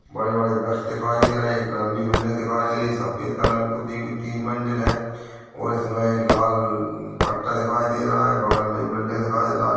बड़े -बड़े व्रछ दिखाई दे रहे एक लम्बी बिल्डिंग दिखाई दे रही सफ़ेद कलर में पुती हुई तीन मंजिल है और इसमें एक लाल पट्टा दिखाई दे रहा है बगल में एक बिल्डिंग दिखाई लाल--